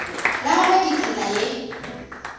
la gagwe ke tsela ye